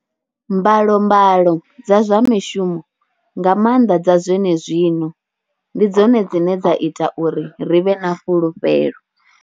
Mbalombalo dza zwa mishumo, nga maanḓa dza zwenezwino, ndi dzone dzine dza ita uri ri vhe na fhulufhelo.